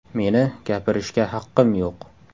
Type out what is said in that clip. Meni gapirishga haqqim yo‘q!